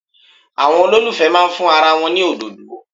Àwọn olólùfẹ́ máa fún ara wọn ní òdòdó.